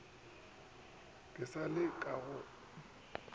ke sa le ka go